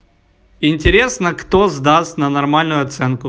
интересно кто сдаст на нормальную оценку